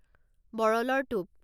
বৰলৰ টোপ